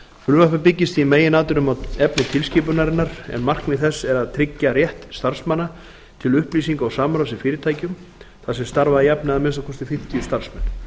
frumvarpið byggist í meginatriðum á efni tilskipunarinnar en markmið þess er að tryggja rétt starfsmanna til upplýsinga og samráðs í fyrirtækjum þar sem starfa að jafnaði að minnsta kosti fimmtíu starfsmenn